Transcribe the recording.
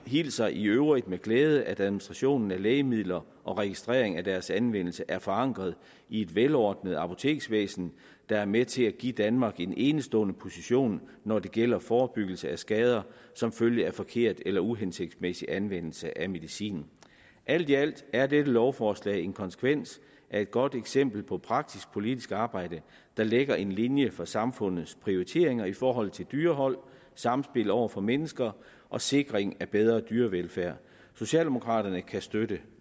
hilser i øvrigt med glæde at administrationen af lægemidler og registrering af deres anvendelse er forankret i et velordnet apoteksvæsen der er med til at give danmark en enestående position når det gælder forebyggelse af skader som følge af forkert eller uhensigtsmæssig anvendelse af medicin alt i alt er dette lovforslag en konsekvens af et godt eksempel på praktisk politisk arbejde der lægger en linje for samfundets prioriteringer i forhold til dyrehold samspillet over for mennesker og sikring af bedre dyrevelfærd socialdemokraterne kan støtte